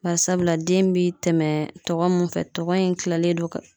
Bari sabula den bi tɛmɛ tɔgɔ min kan tɔgɔ in tilalen don ka